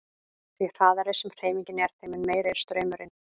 Því hraðari sem hreyfingin er þeim mun meiri er straumurinn.